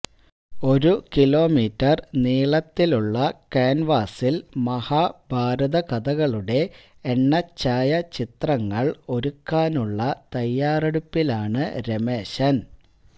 ഒരു കിലോമീറ്റര് നീളത്തിലുള്ള ക്യാന്വാസില് മഹാഭാരതകഥകളുടെ എണ്ണഛായാചിത്രങ്ങള് ഒരുക്കാനുള്ള തയ്യാറെടുപ്പിലാണ് രമേശന്